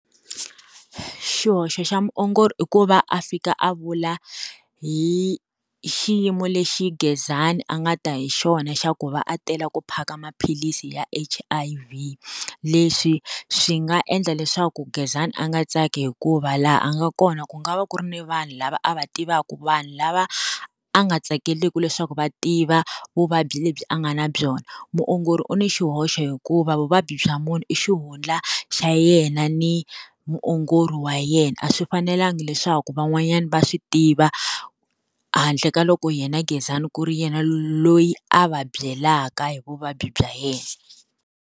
Xihoxo xa muongori i ku va a fika a vula hi xiyimo lexi Gezani a nga ta hi xona xa ku va a tela ku phaka maphilisi ya H_I_V. Leswi swi nga endla leswaku Gezani a nga tsaki hikuva laha a nga kona ku nga va ku ri ni vanhu lava a va tivaku, vanhu lava a nga tsakeleki leswaku va tiva vuvabyi lebyi a nga na byona. Muongori u ni xihoxo hikuva vuvabyi bya munhu i xihundla xa yena ni muongori wa yena, a swi fanelanga leswaku van'wanyana va swi tiva handle ka loko yena Gezani ku ri yena loyi a va byelaka hi vuvabyi bya yena.